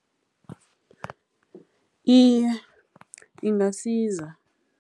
Iye, ingasiza.